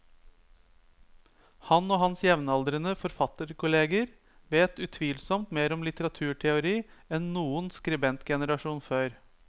Han og hans jevnaldrende forfatterkolleger vet utvilsomt mer om litteraturteori enn noen skribentgenerasjon før.